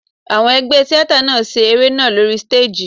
Àwọn ẹgbẹ́ tíátà náà ṣe eré náà lóri stéèjì.